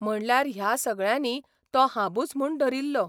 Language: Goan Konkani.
म्हणल्यार ह्या सगळ्यांनी तो हांबूच म्हूण धरिल्लो.